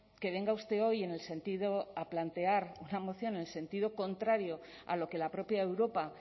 que venga usted hoy en el sentido a plantear una moción en el sentido contrario a lo que la propia europa